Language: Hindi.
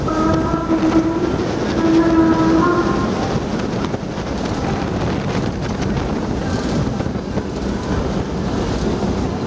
बड़ा सा बैनर भी नजर आ रहा है।